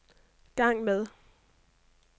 gang med